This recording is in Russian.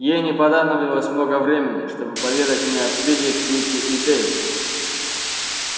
ей не понадобилось много времени чтобы поведать мне о спиди кьюти и дейве